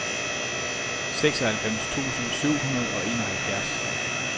seksoghalvfems tusind syv hundrede og enoghalvfjerds